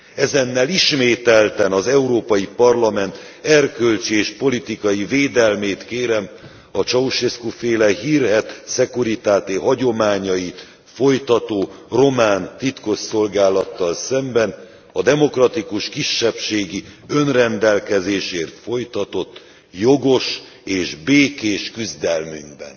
Ezennel ismételten az Európai Parlament erkölcsi és politikai védelmét kérem a Ceaușescu féle hírhedt Securitate hagyományait folytató román titkosszolgálattal szemben a demokratikus kisebbségi önrendelkezésért folytatott jogos és békés küzdelmünkben.